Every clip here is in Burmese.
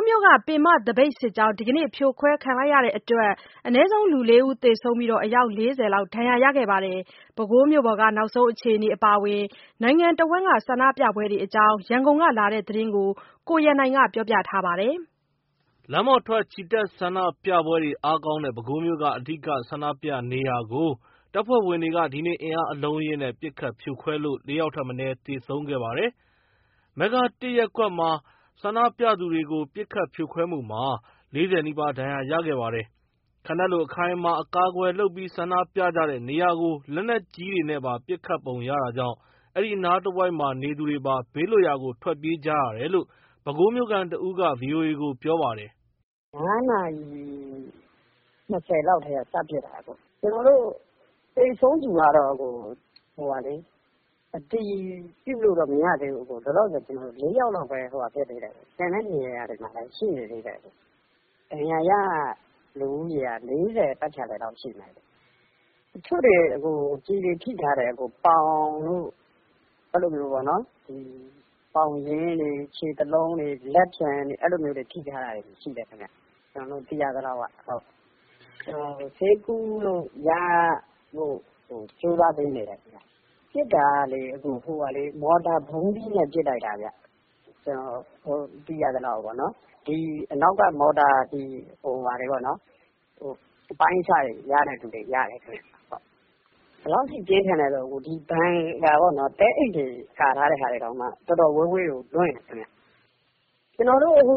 းမြို့က ပင်မသပိတ်စစ်ကြောင်း ဒီနေ့ ဖြိုခွဲခံရတဲ့အတွက် ၄ဦးထက်မနည်း သေဆုံးပြီး အယောက် ၄၀ လောက် ဒဏ်ရာရခဲ့ပါတယ်။ ပဲခူးမြို့က နောက်ဆုံးအခြေအနေအပါအဝင် နိုင်ငံတဝန်းက ဆန္ဒပြပွဲတွေအကြောင်း ရန်ကုန်ကလာတဲ့သတင်းကို ကိုရန်နိုင်က ပြောပြထားပါတယ်။ လမ်းပေါ်ထွက် ချီတက်ဆန္ဒပြပွဲတွေအားကောင်းတဲ့ ပဲခူးမြို့က အဓိက ဆန္ဒပြနေရာကို တပ်ဖဲ့ွဝင်တွေက ဒီနေ့ အင်အားအလုံးအရင်းနဲ့ ပစ်ခတ် ဖြိုခွဲလို့ ၄ ယောက်ထက် မနည်း သေဆုံးခဲ့ပါတယ်။ မဂ္ဂတစ်ရပ်ကွက်မှာ ဆန္ဒပြသူတွေကို ပစ်ခတ်ဖြိုခွဲမှုမှာ ၄၀ နီးပါး ဒဏ်ရာရခဲ့ပါတယ်။ ခံတပ်လိုအခိုင်အမာအကာအကွယ်လုပ်ပြီး ဆန္ဒပြကြတဲ့ နေရာကို လက်နက်ကြီးတွေနဲ့ပါ ပစ်ခတ်ပုံရတာကြောင့် အဲဒီအနားတဝိုက် နေသူတွေပါ ဘေးလွတ်ရာကို ထွက်ပြေးကြရတယ်လို့ ပဲခူးမြို့ခံတဦးက ဗွိအိုအေကို ပြောပါတယ်။ “၅ နာရီ ၂၀ လောက်ကတည်းက စပစ်တာ။ သေဆုံးသူကတော့ လောလောဆယ် ၄ ယောက်လောက်ပဲ အတည်ပြုလို့ရသေးတယ်။ ကျန်တဲ့နေရာမှာလည်း ရှိသေးတယ်။ ဒဏ်ရာရ လူဦးရေက ၄၀ ပတ်ချာလည်လောက်ရှိမယ်။ တချို့တွေ ကျည်တွေထိထားတယ်။ ပေါင်တို့ ပေါင်ရင်းတွေ ခြေသလုံးတွေ လက်ဖျံတွေ အဲ့လိုထိထားတာတွေရှိတယ်။ ဆေးကုလို့ရဖို့ကို ကြိုးစားပေးနေတယ်။ ပစ်တာက မော်တာ ဗုံးသီးနဲ့ ပစ်လိုက်တာ ကျနော်တို့ သိရသလောက်။ အနောက်က မော်တာ အပိုင်းအစတွေရတဲ့သူတွေ ရတယ်ခင်ဗျ။ ဘယ်လောက်ထိ ပြင်းထန်လဲဆိုရင် ဘန်ကာပေါ့နော် သဲအိတ်တွေကာထားတဲ့ဟာတောင်မှ တော်တော် ဝေးဝေးကို လွင့်တယ်ခင်ဗျ။ ကျွန်တော်တို့အခု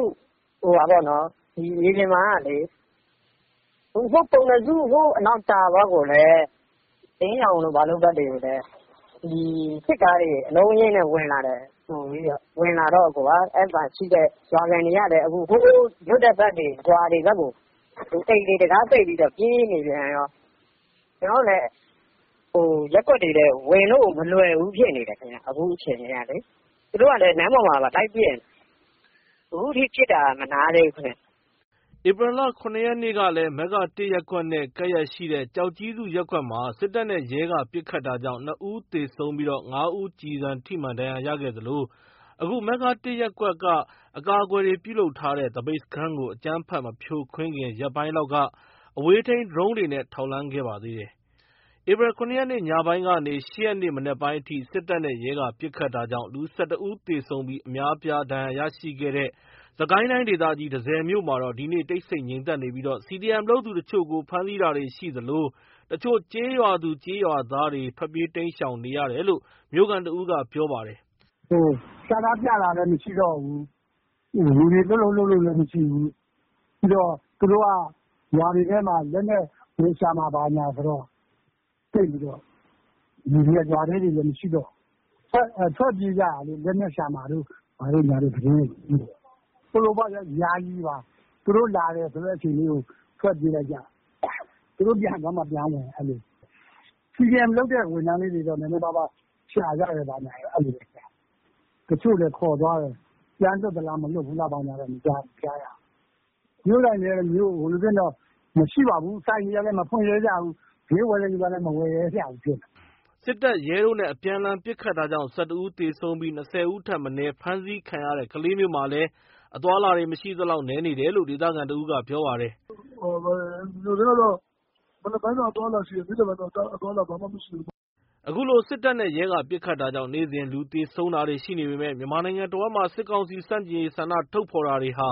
မြေပြင်မှာကလေ ကျွန်တော်တို့ ပုဏ္ဏစု တာပေါက် အလင်းရောင်တို့ဘက်တွေကိုလည်း အလုံးအရင်းနဲ့ဝင်လာတယ်။ ဝင်လာတော့ မြို့ခံတွေကလည်း လွတ်တဲ့ဘက်တွေ ရွာတွေဘက်ကို အိမ်တွေတံခါးပိတ်ပြီး ပြေးနေပြန်ရော။ ကျနော်တို့လည်း ရပ်ကွက်တွေထဲကို ဝင်လို့ မလွယ်ဘူးဖြစ်နေတယ်။ အခုအခြေအနေက သူတို့က လမ်းပေါ်မှာပါ လိုက်ပစ်နေတယ်။ အခုထိ ပစ်တာ မနားသေးဘူးခင်ဗျ။” ဧပြီလ ၇ ရက်နေ့ကလည်း မဂ္ဂတစ် ရပ်ကွက်နဲ့ ကပ်လျက်ရှိတဲ့ ကျောက်ကြီးစု ရပ်ကွက်မှာ စစ်တပ်နဲ့ ရဲက ပစ်ခတ်တာကြောင့် ၂ ဦး သေဆုံးကာ ၅ ဦး ကျည်ဆံထိမှန် ဒဏ်ရာရရှိခဲ့သလို အခု မဂ္ဂတစ်ရပ်ကွက်က အကာအကွယ်တွေနဲ့ ပြုလုပ်ထားတဲ့ သပိတ်စခန်းကို အကြမ်းဖက်မဖြိုခွင်းခင် ရက်ပိုင်းလောက်က အဝေးထိန်းဒရုန်းတွေနဲ့ ထောက်လှမ်းခဲ့ပါသေးတယ်။ ဧပြီ ၇ ရက် ညပိုင်းကနေ ၈ ရက်နေ့ မနက်ပိုင်းအထိ စစ်တပ်နဲ့ ရဲက ပစ်ခတ်တာကြောင့် လူ ၁၁ ဦး သေဆုံးပြီး အများအပြား ဒဏ်ရာရရှိခဲ့တဲ့ စစ်ကိုင်းတိုင်းဒေသကြီး တန့်ဆည်မြို့မှာတော့ ဒီနေ့ တိတ်ဆိတ် ငြိမ်သက်နေပြီး CDM လုပ်သူတချို့ကို ဖမ်းဆီးတာတွေရှိသလို တချို့ကျေးရွာသူ ကျေးရွာသားတွေ ထွက်ပြေး တိမ်းရှောင်နေရတယ်လို့ မြို့ခံတဦးက ပြောပါတယ်။ “ဆန္ဒပြတာလည်းမရှိတော့ဘူး။ လူတွေလှုပ်လှုပ်လည်းမရှိဘူး။ ပြီးတော့ သူတို့က ရွာတွေထဲမှာ လက်နက် ဝင်ရှာမယ်ဘာမယ်ဆိုတော့ လူတွေက ရွာထဲတွေလည်း မရှိတော့ဘူး။ ထွက်ပြေးကြတာလေ လက်နက်ရှာမှာ တို့ဘာတို့ သတင်းတွေက ထွက်နေတော့။ ယာယီပါ သူတို့လာမယ်ဆိုတဲ့အချိန်လေးကို ထွက်ပြေးလိုက်ကြ သူတို့ ပြန်သွားမှ ပြန်ဝင် CDM လုပ်တဲ့ ဝန်ထမ်းလေးတွေ ဘာတွေရှာကြဘာကြ အဲ့လိုတော့ရှိတယ်။ တချို့လည်း ခေါ်သွားတယ်။ ပြန်လွှတ်လား ဘာလားဆိုတာတော့ မကြားရဘူး။ ဈေးဆိုင်တွေကလည်း မဖွင့်ရဲကြဘူး။ ဈေးဝယ်တဲ့သူကလည်း မဝယ်ရဲကြဘူးဖြစ်နေတာ။” စစ်တပ်၊ ရဲတို့နဲ့ အပြန်အလှန် ပစ်ခတ်တာကြောင့် ၁၁ ဦး သေဆုံးပြီး ၂၀ ဦးထက်မနည်း ဖမ်းဆီးခံခဲ့ရတဲ့ ကလေးမြို့မှာလည်း အသွားအလာ မရှိသလောက် နည်းနေတယ်လို့ ဒေသခံတဦးကပြောပါတယ်။ “မြို့ထဲမှာ မနက်ပိုင်းတော့ အသွားအလာရှိတယ်။ နေ့လည်ပိုင်းတော့ အသွားအလာ ဘာမှမရှိတောဘူးပေါ့။” အခုလို စစ်တပ်နဲ့ ရဲက ပစ်ခတ်တာကြောင့် နေ့စဉ် လူသေဆုံးတာရှိနေပေမယ့် မြန်မာနိုင်ငံတဝန်းမှာ စစ်ကောင်စီဆန့်ကျင်ရေး ဆန္ဒထုတ်ဖော်တာတွေဟာ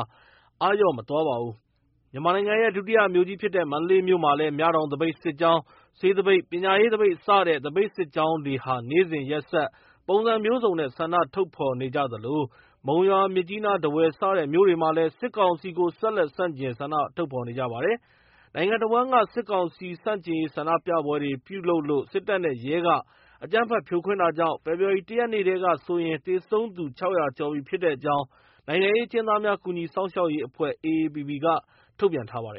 အားလျော့မသွားပါဘူး။ မြန်မာနိုင်ငံရဲ့ ဒုတိယမြို့ကြီးဖြစ်တဲ့ မန္တလေးမြို့မှာလည်း မြတောင် သပိတ်စစ်ကြောင်း၊ ဆေးသပိတ်၊ ပညာရေးသပိတ် စတဲ့ သပိတ်စစ်ကြောင်းတွေဟာ နေ့စဉ်ရက်ဆက် ပုံစံမျိုးစုံနဲ့ ှဆန္ဒထုတ်ဖော်နေ သလို မုံရွာ မြစ်ကြီးနား ထားဝယ် စတဲ့မြို့တွေမှာလည်း စစ်ကောင်စီကို ဆက်လက် ဆန့်ကျင် ဆန္ဒထုတ်ဖော်နေကြပါတယ်။ နိုင်ငံတဝန်းမှာ စစ်ကောင်စီဆန့်ကျင်ရေး ဆန္ဒပြပွဲတွေ ပြုလုပ်လို့ စစ်တပ်နဲ့ ရဲက အကြမ်းဖက် ပစ်ခတ်ဖြိုခွင်းတာကြောင့် ဖေဖော်ဝါရီ ၁ ရက်နေ့ထဲကဆိုရင် သေဆုံးသူ ၆၀၀ ကျော်ပြီဖြစ်တဲ့အကြောင်း နိုင်ငံရေးအကျဉ်းသားများကူညီစောင့်ရှောက်ရေးအဖွဲ့ က ထုတ်ပြန်ထားပါတယ်